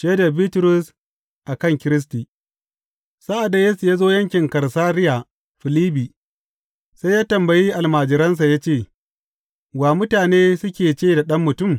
Shaidar Bitrus a kan Kiristi Sa’ad da Yesu ya zo yankin Kaisariya Filibbi, sai ya tambayi almajiransa ya ce, Wa mutane suke ce da Ɗan Mutum?